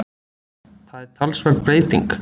Það er talsverð breyting